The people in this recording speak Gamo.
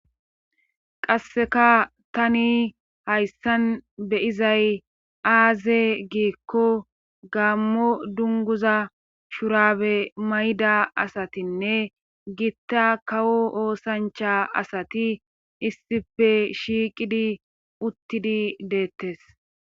qasseka tani hayssan be'izay aaze giikko gaammo dunguza shurabe mayda asatinne giitta kawo oosancha asati issife shiiqidi uttidi deettes